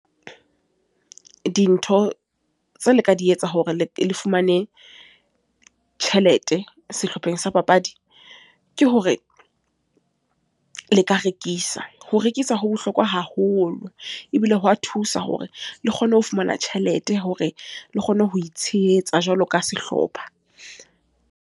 Dintho tseo le ka di etsa hore le fumane tjhelete, sehlopheng sa papadi. Ke hore, le ka rekisa. Ho rekisa ho bohlokwa haholo. Ebile ho wa thusa hore le kgone ho fumana tjhelete, hore le kgone ho itshehetsa jwalo ka sehlopha.